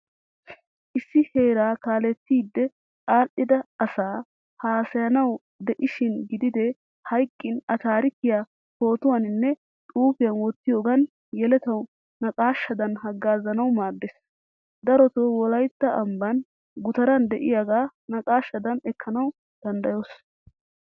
Issi heeraa kaalettidi adhdhida asaa hassayanawu i de'ishin gidide hayqqin a taarikkiyaa pootuwaninne xuufiyaa wottiyogan yelettawu naaqashshadan haggazanawu maaddees. Darotto wolaytta ambban guttaran de'iyaaga naqashadan ekkanawu danddayoos.